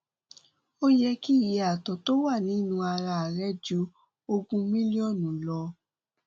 ó yẹ kí iye ààtọ tó wà nínú ara rẹ ju ogún mílíọnù lọ